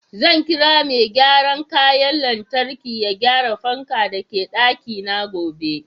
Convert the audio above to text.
Zan kira Mai gyaran kayan lantarki ya gyara fanka da ke daki na gobe.